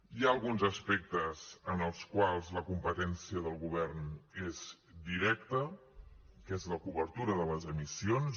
hi ha alguns aspectes en els quals la competència del govern és directa que és la cobertura de les emissions